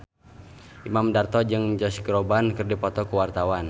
Imam Darto jeung Josh Groban keur dipoto ku wartawan